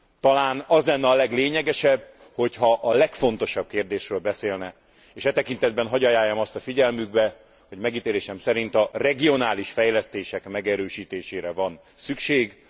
Talán az lenne a leglényegesebb, hogyha a legfontosabb kérdésről beszélne, és e tekintetben hadd ajánljam azt a figyelmükbe, hogy megítélésem szerint a regionális fejlesztések megerősítésére van szükség.